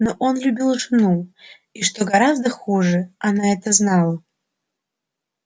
но он любил жену и что гораздо хуже она это знала